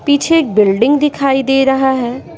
पीछे एक बिल्डिंग दिखाई दे रहा है।